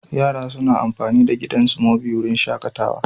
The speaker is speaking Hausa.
Yara suna amfani da gidan Smoby a wurin shakatawa.